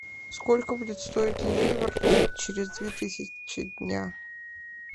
сколько будет стоить ливр через две тысячи дня